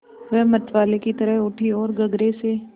वह मतवाले की तरह उठी ओर गगरे से